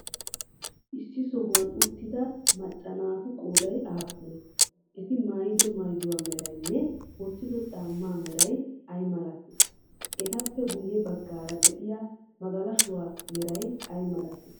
Issi sohuwan uttida macca naatu qooday aappunee? Eti maayido maayuwa meraynne wottido caammaa meray ay malatii? Etappe guyye baggaara de'iya magalashuwa meray ay malatii?